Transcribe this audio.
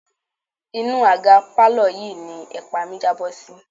Inú àga pálọ̀ yìí ni ẹ̀pa mi jábọ́ sí.